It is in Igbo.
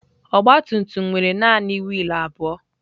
Ọgbatumtum nwere naanị wiil abụọ.